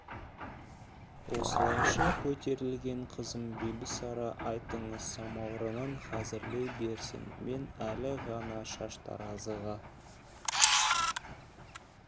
осылайша көтерілген қызым бибісара айтыңыз самаурынын хазірлей берсін мен әлі ғана шаштаразыға